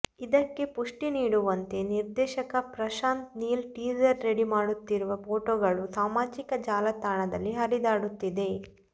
ಇದಕ್ಕೆ ಪುಷ್ಠಿ ನೀಡುವಂತೆ ನಿರ್ದೇಶಕ ಪ್ರಶಾಂತ್ ನೀಲ್ ಟೀಸರ್ ರೆಡಿ ಮಾಡುತ್ತಿರುವ ಫೋಟೋಗಳು ಸಾಮಾಜಿಕ ಜಾಲತಾಣದಲ್ಲಿ ಹರಿದಾಡುತ್ತಿದೆ